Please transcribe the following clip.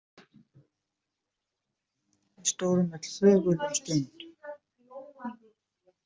Við stóðum öll þögul um stund.